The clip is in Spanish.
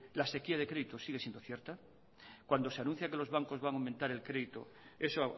la sequía de crédito sigue siendo cierta cuando se anuncia que los bancos van a aumentar el crédito eso